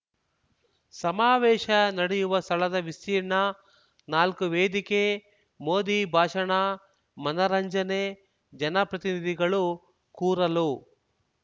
ಸಮಾವೇಶ ನಡೆಯುವ ಸ್ಥಳದ ವಿಸ್ತೀರ್ಣ ನಾಲ್ಕು ವೇದಿಕೆ ಮೋದಿ ಭಾಷಣ ಮನರಂಜನೆ ಜನಪ್ರತಿನಿಧಿಗಳು ಕೂರಲು